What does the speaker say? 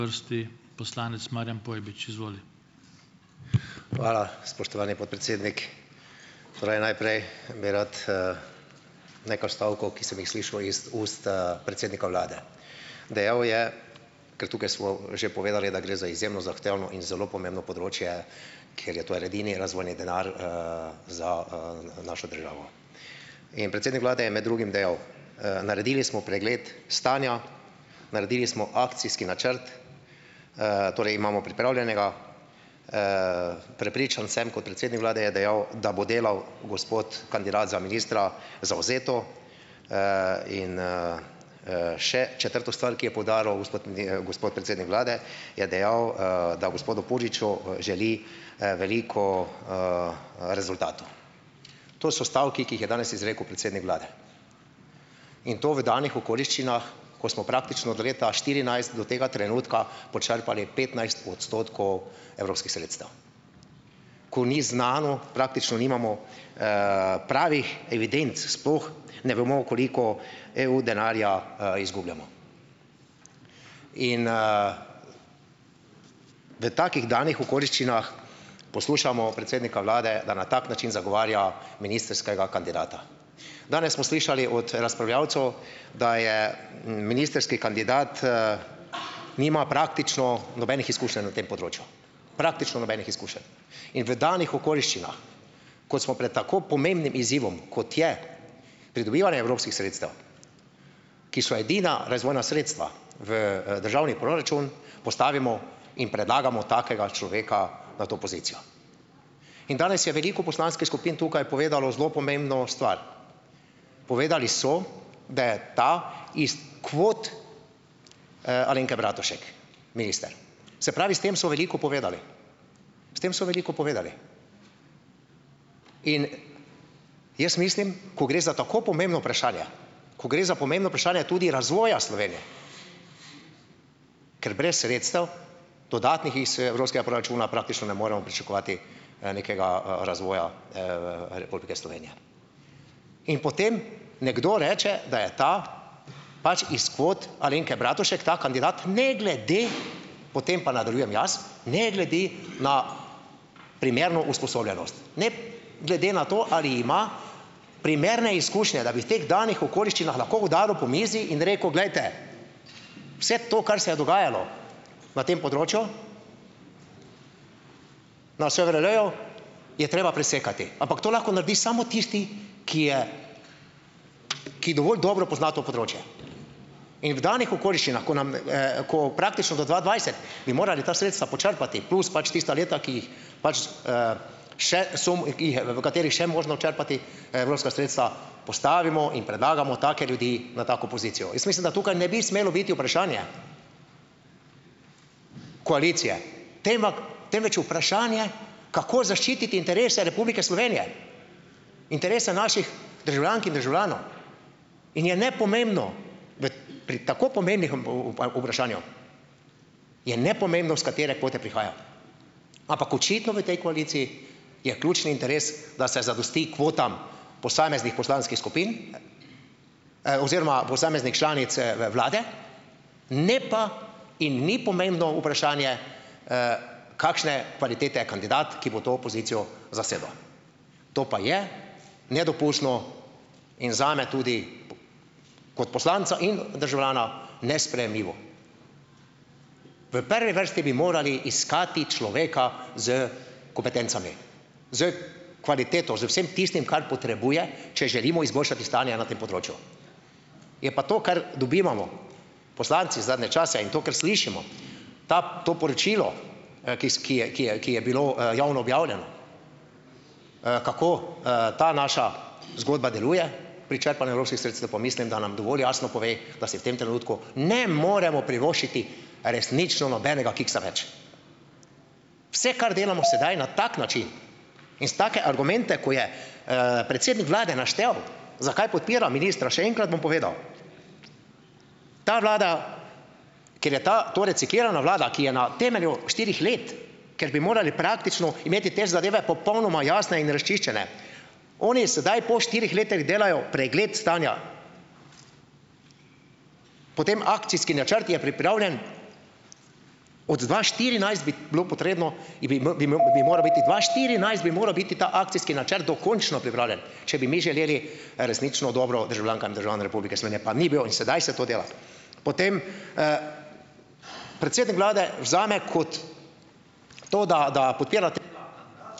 Hvala, spoštovani podpredsednik. Pravi, najprej bi rad, nekaj stavkov, ki sem jih slišal iz ust, predsednika vlade. Dejal je, ker tukaj smo že povedali, da gre za izjemno zahtevno in zelo pomembno področje, ker je to edini razvojni denar, za, našo državo. In predsednik vlade je med drugim dejal: naredili smo pregled stanja, naredili smo akcijski načrt, torej imamo pripravljenega. Prepričan sem, kot predsednik vlade," je dejal, "da bo delal gospod kandidat za ministra zavzeto." in, še četrto stvar, ki je poudaril gospod gospod predsednik vlade, je dejal, da gospodu Puriču, želi, veliko, rezultatov. To so stavki, ki jih je danes izrekel predsednik vlade in to v danih okoliščinah, ko smo praktično od leta štirinajst do tega trenutka počrpali petnajst odstotkov evropskih sredstev, ko ni znano, praktično nimamo, pravih evidenc, sploh ne vemo, koliko EU denarja, izgubljamo. In, v takih danih okoliščinah poslušamo predsednika vlade, da na tak način zagovarja ministrskega kandidata. Danes smo slišali od, razpravljavcev, da je ministrski kandidat, nima praktično nobenih izkušenj na tem področju. Praktično nobenih izkušenj. In v danih okoliščinah, kot smo pred tako pomembnim izzivom, kot je pridobivanje evropskih sredstev, ki so edina razvojna sredstva v, državni proračun postavimo in predlagamo takega človeka v to pozicijo. In danes je veliko polanskih skupin tukaj povedalo zelo pomembno stvar. Povedali so, da je ta iz kvot, Alenke Bratušek minister, se pravi, s tem so veliko povedali. S tem so veliko povedali. In jaz mislim, ko gre za tako pomembno vprašanje, ko gre za pomembno vprašanje tudi razvoja Slovenije, ker brez sredstev dodatnih iz evropskega proračuna praktično ne moremo pričakovati, nekega, razvoja, Republike Slovenije. In potem nekdo reče, da je ta pač iz kvot Alenke Bratušek, ta kandidat ne glede, potem pa nadaljujem jaz, ne glede na primerno usposobljenost, ne glede na to, ali ima primerne izkušnje, da bi v teh danih okoliščinah lahko udaril po mizi in rekel: "Glejte, vse to, kar se je dogajalo na tem področju, na SVRL-ju, je treba presekati," ampak to lahko naredi samo tisti, ki je, ki dovolj dobro pozna to področje in v danih okoliščinah, ko nam, ko praktično do dva dvajset bi morali ta sredstva počrpati plus pač tista leta, ki jih pač, še samo, ki jih je, v katerih še možno črpati evropska sredstva, postavimo in predlagamo take ljudi v tako pozicijo. Jaz mislim, da tukaj ne bi smelo biti vprašanje koalicije, temvak temveč vprašanje, kako zaščititi interese Republike Slovenije, interese naših državljank in državljanov. In je nepomembno v pri tako pomembnih vprašanju je nepomembno, s katere kvote prihaja, ampak očitno v tej koaliciji je ključni interes, da se zadosti kvotam posameznih poslanskih skupin, oziroma posameznih članic, vlade, ne pa in ni pomembno vprašanje, kakšne kvalitete je kandidat, ki bo to pozicijo zasedel. To pa je nedopustno in zame tudi kot poslanca in, državljana nesprejemljivo. V prvi vrsti bi morali iskati človeka s kompetencami, s kvaliteto, z vsem tistim, kar potrebuje, če želimo izboljšati stanje na tem področju. Je pa to, kar dobivamo poslanci zadnje čase in to, kar slišimo, ta, to poročilo, ki s, ki je, ki je, ki je bilo, javno objavljeno, kako, ta naša zgodba deluje pri črpanju evropskih sredstev pa mislim, da nam dovolj jasno pove, da si v tem trenutku ne moremo privoščiti resnično nobenega kiksa več. Vse, kar delamo sedaj na tak način in s take argumente, ko je predsednik vlade naštel, zakaj podpira ministra, še enkrat bom povedal, ta vlada, ker je ta, to reciklirana vlada, ki je na temelju štirih let, ker bi morali praktično imeti te zadeve popolnoma jasne in razčiščene, oni sedaj po štirih letih delajo pregled stanja. Potem akcijski načrt je pripravljen? Od dva štirinajst bi bilo potrebno, je bi imel, bi imel, bi mora biti dva štirinajst bi moral biti ta akcijski načrt dokončno pripravljen, če bi mi želeli, resnično dobro državljankam in državljanom Republike Slovenije, pa ni bil in sedaj se to dela. Potem, predsednik vlade vzame kot to da, da podpirati ...